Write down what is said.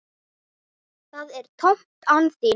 Það er tómt án þín.